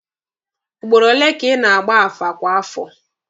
Ugboro ole ka ị na-agba afa kwa afọ?